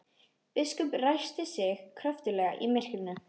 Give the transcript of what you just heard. Biskup ræskti sig kröftuglega í myrkrinu.